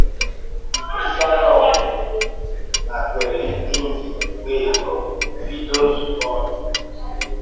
Saron nàkwèèrè èn̄yi wéé bìdo nzùkọ́ Ìgbò ọ̀zìgbò.